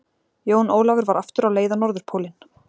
Jón Ólafur var aftur á leið á Norðurpólinn.